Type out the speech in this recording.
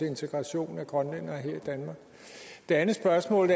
integration af grønlændere her i danmark det andet spørgsmål